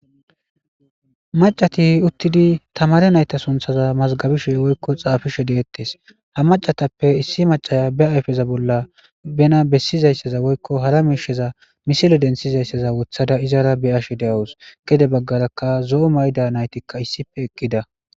Maccati uttidi tamaare nayta sunththa mazagabizayssa woyko xaafishe de7etes ha maccatape issi maccaya be aypeza bolla bana besizayssaza woykko hara misile bessizaysaza be aype bolla wothada be7ashe de7awus gede baggaraka zo7o mayo mayida nayti eqqida.